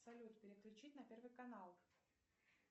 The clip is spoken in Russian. салют переключить на первый канал